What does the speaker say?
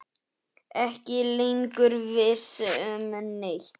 Ekki lengur viss um neitt.